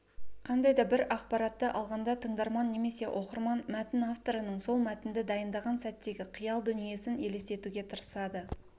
қандай да бір ақпаратты алғанда тыңдарман немесе оқырман мәтін авторының сол мәтінді дайындаған сәттегі қиял-дүниесін елестетуге тырысады